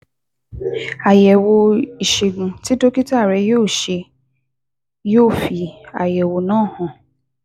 Àyẹ̀wò ìṣègùn tí dókítà rẹ yóò ṣe yóò fi àyẹ̀wò náà hàn